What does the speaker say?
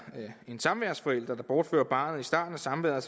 en samværsforælder der bortfører barnet i starten af samværet